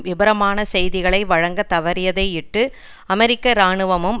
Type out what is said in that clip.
விபரமான செய்திகளை வழங்க தவறியதையிட்டு அமெரிக்க இராணுவமும்